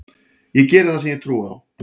Ég geri það sem ég trúi á.